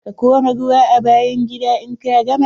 Ka kora ruwa a bayan gida in ka gama.